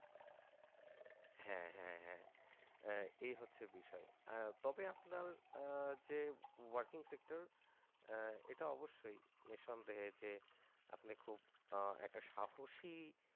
হ্যাঁ হ্যাঁ এই হচ্ছে বিষয়। তবে আপনার যে working sector এটা অবশ্যই নিঃসন্দেহে যে আপনি খুব একটা সাহসী